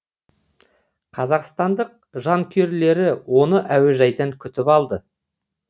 қазақстандық жанкүйерлері оны әуежайдан күтіп алды